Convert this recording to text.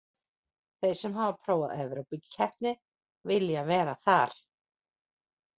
Þeir sem hafa prófað evrópukeppni vilja vera þar.